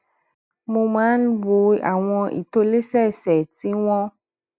mo máa ń wo àwọn ìtòlésẹẹsẹ tí wón